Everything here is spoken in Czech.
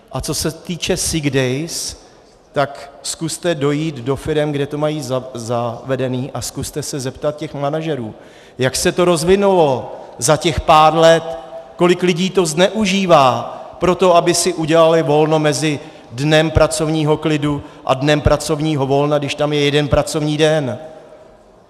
A co se týče sick days, tak zkuste dojít do firem, kde to mají zavedené, a zkuste se zeptat těch manažerů, jak se to rozvinulo za těch pár let, kolik lidí to zneužívá pro to, aby si udělali volno mezi dnem pracovního klidu a dnem pracovního volna, když tam je jeden pracovní den.